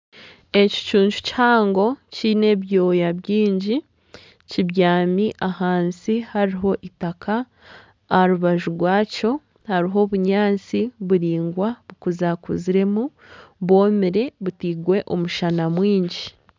Ekicuncu kihango kiine ebyoya bingi kibyami ahansi hariho itaka. Aha rubaju rwakyo hariho obunyaatsi buraingwa bukuzakuziremu bwomire butirwe omushana mwingi.